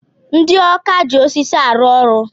Ndị ọkà ji osisi arụ ọrụ.